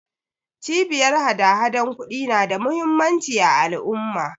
Cibiyar hadahadan ƙudi na da muhimmanci a al'umma.